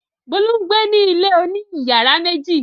Bólú ń gbé ní ilé oní ìyàrá méjì.